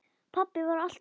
Pabbi var alltaf ógn.